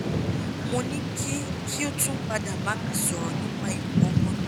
mo ní kí kí o tún padà bá mi sọ̀rọ̀ nípa ipò ọmọ náà